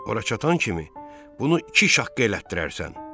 Ora çatan kimi bunu iki şaqqa elətdirərsən.